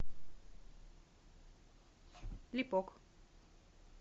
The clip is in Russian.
липок